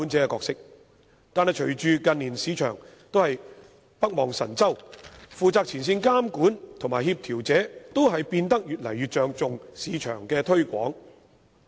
可是，隨着近年市場北望神州，負責前線監管和協調者都變得越來越着重市場推廣。